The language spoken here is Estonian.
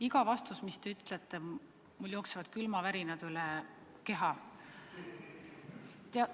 Iga vastuse peale, mis te ütlete, jooksevad mul külmavärinad üle keha.